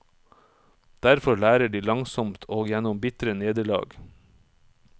Derfor lærer de langsomt og gjennom bitre nederlag.